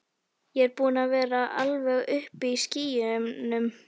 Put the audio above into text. Ég er búinn að vera alveg uppi í skýjunum.